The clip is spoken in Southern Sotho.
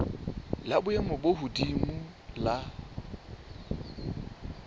la boemo bo hodimo la